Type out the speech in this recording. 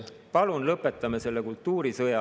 Palun lõpetame selle kultuurisõja …